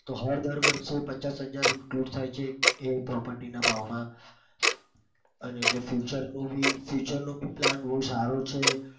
તો હર દર વર્ષે પચાસ હજાર improve થાય છે એ property ના ભાવમાં અને એટલે future નું future નો plan પણ બઉ સારો છે.